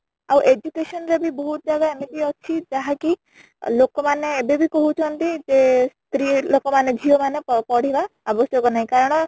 ଆଉ education ରେ ବି ବହୁତ ଜାଗା ଏମିତି ଅଛି ଯାହାକି ଲୋକ ମାନେ ଏବେ ବି କହୁଛନ୍ତି ଯେ ସ୍ତ୍ରୀ ଲୋକ ମାନେ ଝିଅ ମାନେ ପଢିବା ଆବଶ୍ୟକ ନାହିଁ କାରଣ